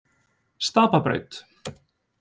Stapabraut